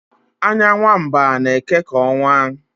anya nwa mba na-eke ka ọnwa